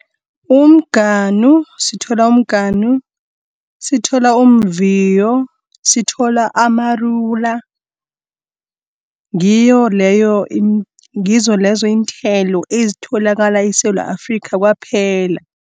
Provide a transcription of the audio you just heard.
Umganu, sithola umganu, sithola umviyo , sithola amarula. Ngizolezo iinthelo ezitholakala eSewula Afrikha kwaphela.